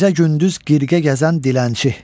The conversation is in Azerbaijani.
Gecə-gündüz qırğa gəzən dilənçi.